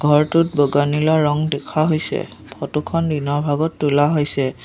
ঘৰটোত বগা নীলা ৰং দেখা হৈছে ফটো খন দিনৰ ভাগত তোলা হৈছে।